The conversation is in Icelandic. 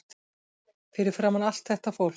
Fyrir framan allt þetta fólk.